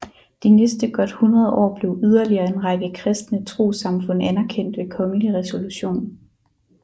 De næste godt hundrede år blev yderligere en række kristne trossamfund anerkendt ved kongelig resolution